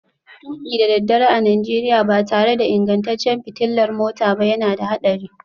Tuki da daddare a Najeriya ba tare da ingantaccen fitilar mota ba yana da haɗari